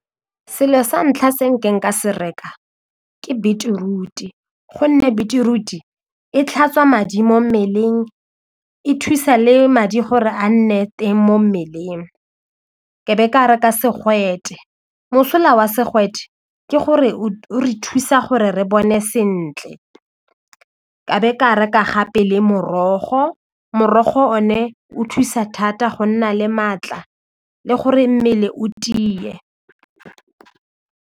Selo sa ntlha se ka se reka ke beetroot-e gonne beetroot e tlhatswa madi mo mmeleng e thusa le madi gore a nne teng mo mmeleng ke be ke reka segwete mosola wa segwete ke gore o re thusa gore re bone sentle ka be ka reka gape le morogo, morogo o ne o thusa thata go nna le maatla le gore mmele o tie.